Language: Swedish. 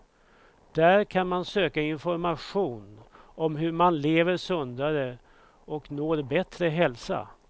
Där kan man söka information om hur man lever sundare och når bättre hälsa.